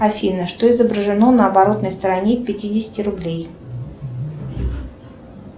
афина что изображено на оборотной стороне пятидесяти рублей